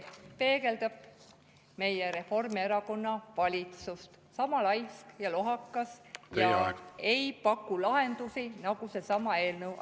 Selles peegeldub meie Reformierakonna valitsus, mis on sama laisk ja lohakas ning ei paku lahendusi, samuti nagu see eelnõu.